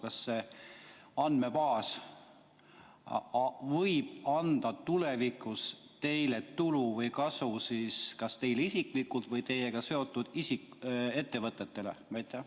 Kas see andmebaas võib anda tulevikus teile tulu või kasu kas teile isiklikult või teiega seotud ettevõtetele?